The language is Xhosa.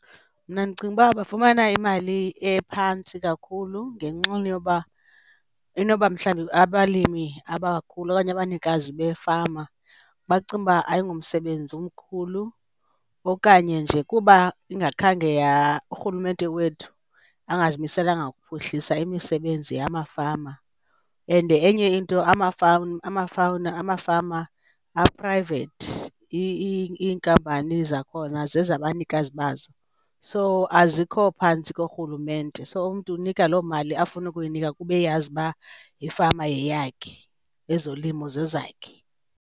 Mna ndicinga uba bafumana imali ephantsi kakhulu ngenxana yoba inoba mhlawumbi abalimi abakhulu okanye abanikazi beefama bacinga uba ayingomsebenzi umkhulu okanye nje kuba ingakhange urhulumente wethu angazimiselanga kuphuhlisa imisebenzi yamafama. And enye into amafama aprayivethi, iinkampani zakhona zezabanikazi bazo so azikho phantsi korhulumente, so umntu unika loo mali afuna ukuyinika kuba eyazi uba ifama yeyakhe, ezolimo zezakhe.